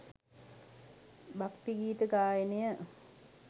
භක්තිගීත ගායනය